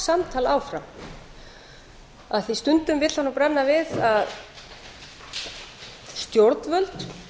samtal áfram af því að stundum vill það nú brenna við að stjórnvöld